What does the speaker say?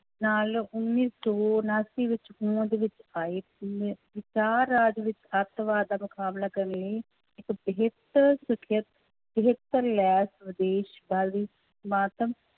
ਨਾਲ ਉੱਨੀ ਸੌ ਉਣਾਸੀ ਵਿੱਚ ਹੋਂਦ ਵਿੱਚ ਆਈ ਰਾਜ ਵਿੱਚ ਆਤੰਕਵਾਦ ਦਾ ਮੁਕਾਬਲਾ ਕਰਨ ਲਈ ਇੱਕ ਬਿਹਤਰ ਸਿਖਿਅਤ ਬਿਹਤਰ